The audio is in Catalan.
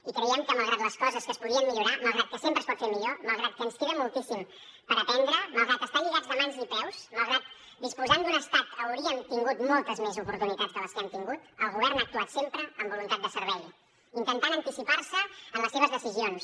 i creiem que malgrat que les coses es podien millorar malgrat que sempre es pot fer millor malgrat que ens queda moltíssim per aprendre malgrat estar lligats de mans i peus malgrat que disposant d’un estat hauríem tingut moltes més oportunitats de les que hem tingut el govern ha actuat sempre amb voluntat de servei intentant anticipar se en les seves decisions